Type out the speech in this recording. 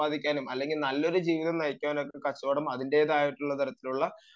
സമ്പാദിക്കാനും അല്ലെങ്കിൽ നല്ലൊരു ജീവിതം നയിക്കാനും കച്ചവടം അതിന്റേതായിട്ടുള്ള തരത്തിലുള്ള